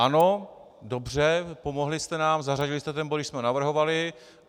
Ano, dobře, pomohli jste nám, zařadili jste ten bod, když jsme ho navrhovali.